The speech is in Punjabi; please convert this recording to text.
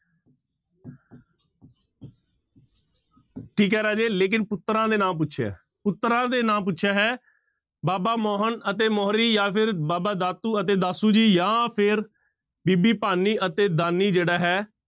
ਠੀਕ ਹੈ ਰਾਜੇ ਲੇਕਿੰਨ ਪੁੱਤਰਾਂ ਦੇ ਨਾਂ ਪੁੱਛਿਆ, ਪੁੱਤਰਾਂ ਦੇ ਨਾਂ ਪੁੱਛਿਆ ਹੈ, ਬਾਬਾ ਮੋਹਨ ਅਤੇ ਮੋਹਰੀ ਜਾਂ ਫਿਰ ਬਾਬਾ ਦਾਤੂ ਅਤੇ ਦਾਸੂ ਜੀ ਜਾਂ ਫਿਰ ਬੀਬੀ ਭਾਨੀ ਅਤੇ ਦਾਨੀ ਜਿਹੜਾ ਹੈ,